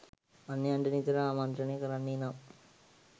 අන්‍යයන්ට නිතර ආමන්ත්‍රණය කරන්නේ නම්